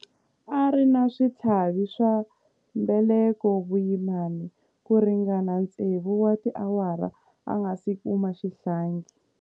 A ri na switlhavi swa mbeleko vuyimani ku ringana tsevu wa tiawara a nga si kuma xihlangi.